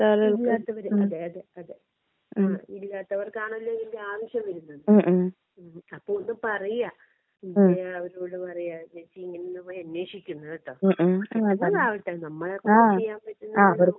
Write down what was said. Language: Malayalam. അതെ അതെ അതെ ഇല്ലാത്തവർക്ക് ആണല്ലോ ഇതിന്റെ ആവശ്യം വരുന്നത്. അപ്പോ ഒന്ന് പറയാ. ജയ അവരോട് പറയാ ജെസ്സി ഇങ്ങനെയൊന്നു പോയി അന്വേഷിക്ക് എന്ന് കേട്ടോ. നല്ലതാവട്ടെ നമ്മളെക്കൊണ്ട് ചെയ്യാൻ പറ്റുന്നത്.